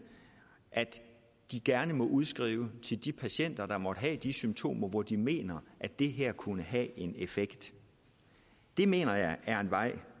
at de gerne måtte udskrive til de patienter der måtte have de symptomer hvor de mener at det her kunne have en effekt det mener jeg er en vej